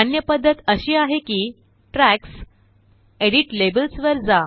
अन्य पद्धत अशी आहे कि ट्रॅक्स जीटीजीटी एडिट लेबल्स वर जा